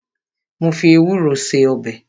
Mo fi ewúro ṣe ọbẹ̀